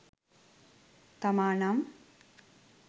තමා නම්